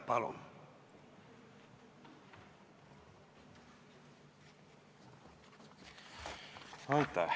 Palun!